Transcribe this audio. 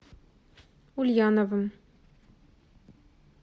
ульяновым